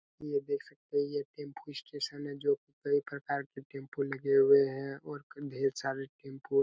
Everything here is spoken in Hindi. ये देख सकते है ये टेम्पो स्टेशन जो काई प्रकार के टेम्पो लगे हुए है और ढेर सारे टेम्पो --